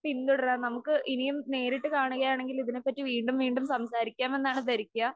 പിന്തുടരാം. നമുക്ക് ഇനിയും നേരിട്ട് കാണുകയാണെങ്കിൽ ഇതിനെപ്പറ്റി വീണ്ടും വീണ്ടും സംസാരിക്കാം എന്നാണ് ധരിക്കാ